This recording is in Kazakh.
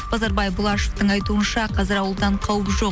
базарбай бұлашевтың айтуынша қазір ауылдан қауіп жоқ